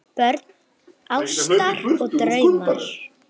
Börn ástar og drauma